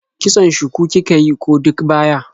Kitson shuku kika yi ko duk baya?